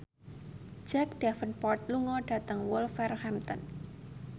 Jack Davenport lunga dhateng Wolverhampton